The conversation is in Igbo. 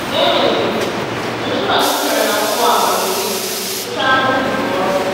Mgbe e mesịrị, Joshuwa, “juputara na mmụọ amamihe,” gụchara Mosis ọrụ.